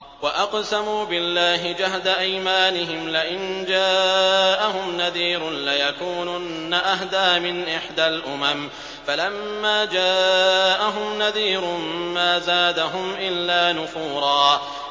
وَأَقْسَمُوا بِاللَّهِ جَهْدَ أَيْمَانِهِمْ لَئِن جَاءَهُمْ نَذِيرٌ لَّيَكُونُنَّ أَهْدَىٰ مِنْ إِحْدَى الْأُمَمِ ۖ فَلَمَّا جَاءَهُمْ نَذِيرٌ مَّا زَادَهُمْ إِلَّا نُفُورًا